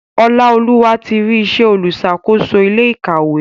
Olaoluwa tí rí ìṣe oluṣakoso ilé ìkàwé.